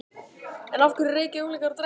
En af hverju reykja unglingar og drekka?